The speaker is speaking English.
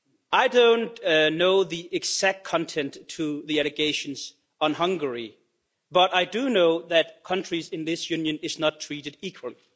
I don't know the exact content of the allegations about Hungary but I do know that countries in this Union are not treated equally.